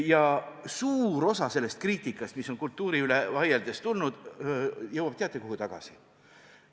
Ja suur osa sellest kriitikast, mis on kultuuri üle vaieldes tulnud, jõuab, kas teate, kuhu tagasi?